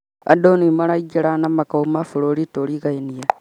Andũ nĩ maraingĩra na makauma bũrũri turigainie